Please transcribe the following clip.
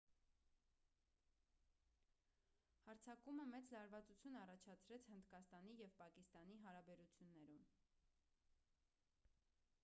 հարձակումը մեծ լարվածություն առաջացրեց հնդկաստանի և պակիստանի հարաբերություններում